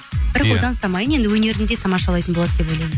бірақ одан самайын енді өнерін де тамашалайтын болады деп ойлаймын